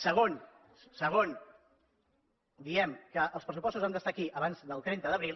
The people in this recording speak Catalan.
segon segon diem que els pressupostos han d’estar aquí abans del trenta d’abril